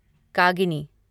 कागिनी